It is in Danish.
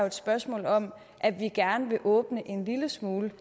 et spørgsmål om at vi gerne vil åbne en lille smule